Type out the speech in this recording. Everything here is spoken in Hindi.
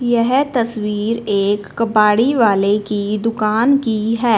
येह तस्वीर एक कबाड़ी वाले की दुकान की हैं।